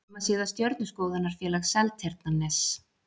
Heimasíða Stjörnuskoðunarfélag Seltjarnarness.